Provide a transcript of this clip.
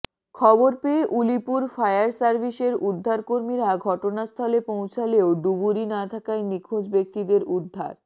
খবর পেয়ে উলিপুর ফায়ার সার্ভিসের উদ্ধারকর্মীরা ঘটনাস্থলে পৌঁছালেও ডুবুরি না থাকায় নিখোঁজ ব্যক্তিদের উদ্ধার